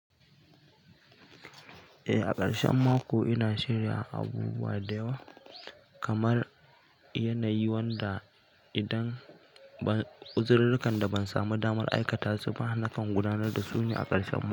Eh, a ƙarshen mako ina shirya abubuwa da yawa kamar yanayi, wanda idan uziririkan da ban samu damar aikata su ba, na kan gudanar da su ne a ƙarshen mako.